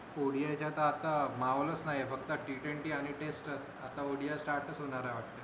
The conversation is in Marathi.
ओ डी आय चा आता आता माहोलच नाही हे फक्त टी ट्वेंटी आणि टेस्ट अं आता ओ डी आय start च होणार आहे वाटत